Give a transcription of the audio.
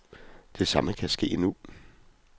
Det samme kan ske nu.